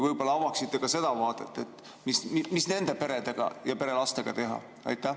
Võib-olla avaksite ka seda vaadet, mis nende perede ja lastega teha?